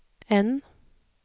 N